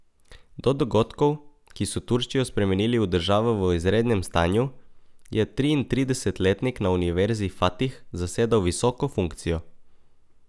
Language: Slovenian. Do dogodkov, ki so Turčijo spremenili v državo v izrednem stanju, je triintridesetletnik na univerzi Fatih zasedal visoko funkcijo.